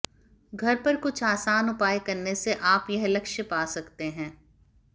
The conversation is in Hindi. घर पर कुछ आसान उपाय करने से आप यह लक्ष्य पा सकते हैं